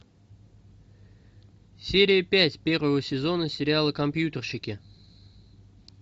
серия пять первого сезона сериала компьютерщики